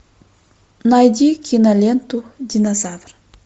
найди киноленту динозавр